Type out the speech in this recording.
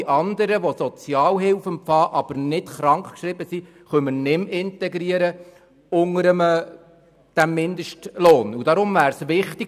Alle andern, die Sozialhilfe empfangen, aber nicht krankgeschrieben sind, können wir unter diesem Mindestlohn nicht mehr integrieren.